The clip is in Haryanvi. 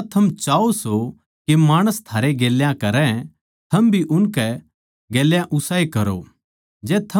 जिसा थम चाहो सो के माणस थारै गेल्या करै थम भी उनकै गेल्या उसाए करो